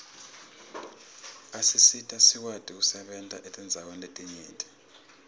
asisita sikwati kusebenta etindzaweni letinyenti